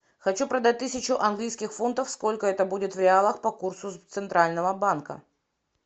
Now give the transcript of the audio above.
хочу продать тысячу английских фунтов сколько это будет в реалах по курсу центрального банка